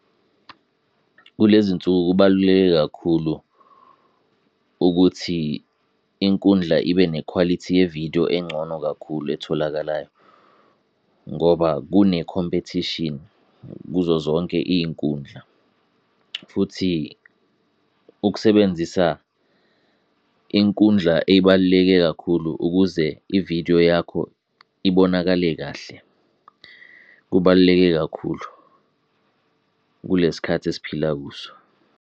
Kule zinsuku kubaluleke kakhulu ukuthi inkundla ibe nekhwalithi ye-video engcono kakhulu etholakalayo ngoba kune-competition kuzo zonke iy'nkundla. Futhi ukusebenzisa inkundla ebaluleke kakhulu ukuze i-video yakho ibonakale kahle, kubaluleke kakhulu kule sikhathi esiphila kuso.